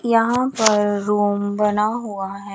यहां पर रूम बना हुआ है।